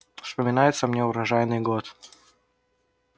вспоминается мне урожайный год